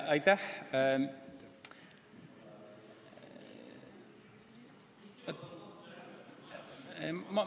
Aitäh!